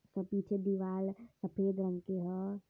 के पीछे दीवाल सफेद रंग के ह।